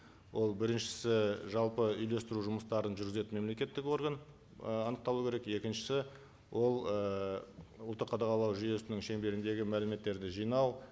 ол біріншісі жалпы үйлестіру жұмыстарын жүргізетін мемлекеттік орган ы анықталу керек екіншісі ол ы ұлттық қадағалау жүйесінің шеңберіндегі мәліметтерді жинау